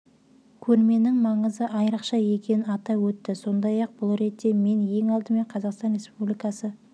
көрменің маңызы айрықша екенін атап өтті сондай-ақ ол бұл ретте мен ең алдымен қазақстан республикасы